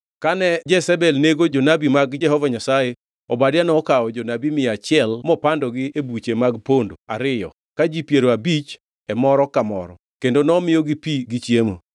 Kane Jezebel nego jonabi mag Jehova Nyasaye, Obadia nokawo jonabi mia achiel mopandogi e buche mag pondo ariyo ka ji piero abich abich e moro ka moro kendo nomiyogi pi gi chiemo.